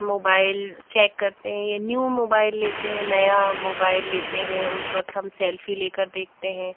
Mobile check करते हैं ये न्यू मोबाइल लेते हैं नया मोबाइल लेते हैं उस वक्त हम सेल्फी लेकर देखते हैं।